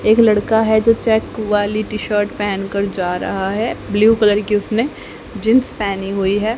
एक लड़का है जो चेक वाली टी शर्ट पेहन कर जा रहा है ब्लू कलर की उसनें जींस पेहनी हुई है।